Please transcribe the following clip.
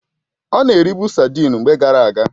Ọ na eribu sadịn mgbe gara aga